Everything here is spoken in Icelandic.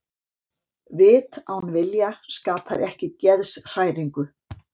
Vit án vilja skapar ekki geðshræringu.